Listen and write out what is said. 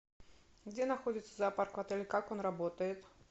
где находится зоопарк в отеле как он работает